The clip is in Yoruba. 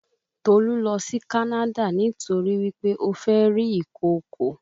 Tolu lọ sí Canada nítorí wí pé ó fẹ́ rí ìkokò